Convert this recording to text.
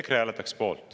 EKRE hääletaks poolt.